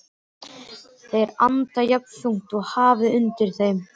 Þeir anda jafnþungt og hafið undir þeim.